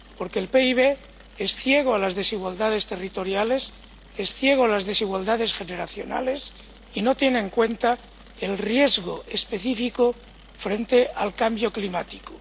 Porque el PIB es ciego a las desigualdades territoriales, es ciego a las desigualdades generacionales y no tiene en cuenta el riesgo específico frente al cambio climático.